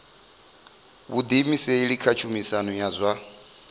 vhuḓiimiseli kha tshumisano ya zwa